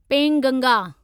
Penganga